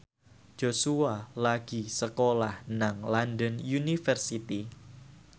Joshua lagi sekolah nang London University